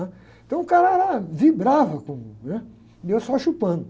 Então o cara era, vibrava, com, né? E eu só chupando.